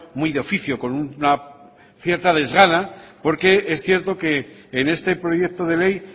muy de oficio con una cierta desgana porque es cierto que en este proyecto de ley